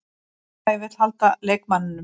Félagið vill halda leikmanninum.